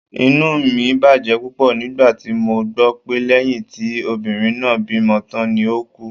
Inú mi bàjẹ́ púpọ̀ nígbà tí mo gbọ́ pé lẹ́yìn tí obìnrin náà bímọ tán ni ó ku